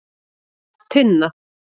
Tinna